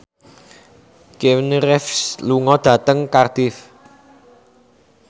Keanu Reeves lunga dhateng Cardiff